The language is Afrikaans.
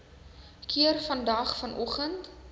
keer vandag vanoggend